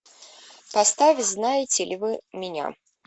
поставь знаете ли вы меня